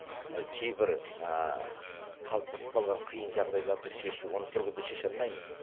кейбір қалыптасып қалған қиын жағдайларды шешу оны бір күнде шеше алмаймыз